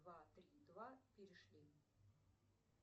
два три два перешли